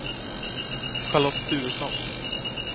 Charlotte Turesson